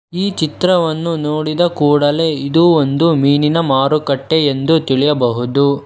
ಈ ಚಿತ್ರವನ್ನು ನೋಡಿದ ಕೂಡಲೇ ಇದು ಒಂದು ಮೀನಿನ ಮಾರುಕಟ್ಟೆ ಎಂದು ತಿಳಿಯಬಹುದು.